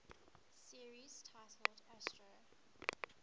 series titled astro